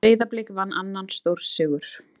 Breiðablik vann annan stórsigur